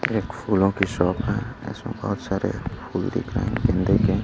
एक फूलों की शॉप है इसमें बहुत सारे फूल दिख रहे हैं गेंदे के।